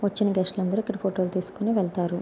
వచ్చిన గెస్ట్ లు అందరూ ఇక్కడ ఫోటో లు తీసుకొని వెళతారు.